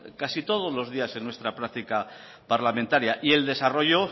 casi todos los días en nuestra práctica parlamentaria y el desarrollo